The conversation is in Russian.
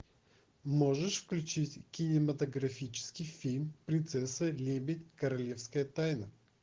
можешь включить кинематографический фильм принцесса лебедь королевская тайна